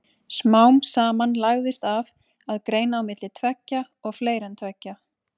Smám saman lagðist af að greina á milli tveggja og fleiri en tveggja.